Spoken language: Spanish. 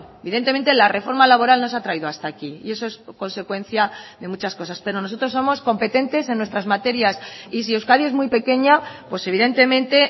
evidentemente la reforma laboral nos ha traído hasta aquí y eso es consecuencia de muchas cosas pero nosotros somos competentes en nuestras materias y si euskadi es muy pequeña pues evidentemente